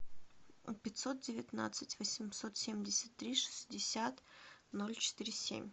пятьсот девятнадцать восемьсот семьдесят три шестьдесят ноль четыре семь